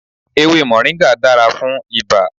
Ewe Moringa dara fún ibà.